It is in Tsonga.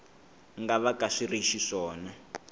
nga vaka swi ri xiswona